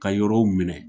Ka yɔrɔw minɛ